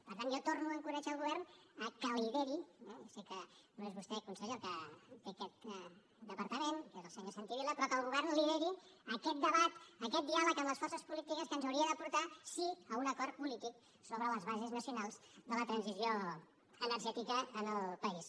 per tant jo torno a encoratjar el govern a que lideri eh ja sé que no és vostè conseller el que té aquest departament que és el senyor santi vila aquest debat aquest diàleg amb les forces polítiques que ens hauria de portar sí a un acord polític sobre les bases nacionals de la transició energètica en el país